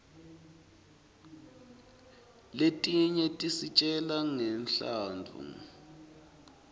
letinye tisitjela ngemlandvo yebatfu